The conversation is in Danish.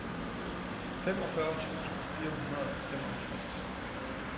femogfyrre tusind fire hundrede og femoghalvtreds